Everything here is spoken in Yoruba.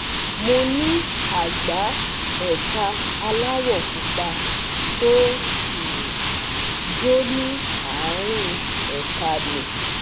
Mo ní àgbá ẹ̀ka aláwọ̀ pupa tó um ń jó ní àárín ẹ̀ka mi